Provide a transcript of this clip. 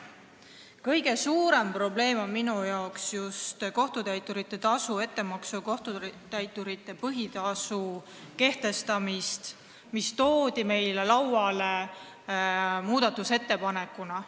Kõige suurem probleem on minu arvates just kohtutäiturite põhitasu ja ettemaksu kehtestamine, mis toodi meie lauale muudatusettepanekuna.